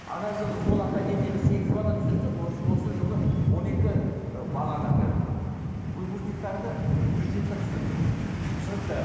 ана жылы сол академияға сегіз бала түсірсек осы жылы он екі ы баланы әлгі ы выпускниктарды бюджетке түсірдік ммм түсінікті